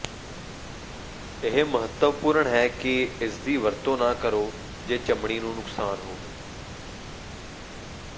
ਇਹ ਮਹੱਤਵਪੂਰਨ ਹੈ ਕਿ ਇਸਦੀ ਵਰਤੋਂ ਨਾ ਕਰੋ ਜੇ ਚਮੜੀ ਨੂੰ ਨੁਕਸਾਨ ਹੋਵੇ